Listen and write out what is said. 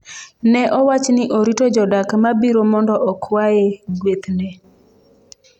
Ne owach ni orito jodak ma biro mondo okwaye guethne.